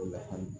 O la hami